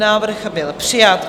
Návrh byl přijat.